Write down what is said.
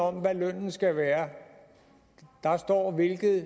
om hvad lønnen skal være der står hvilket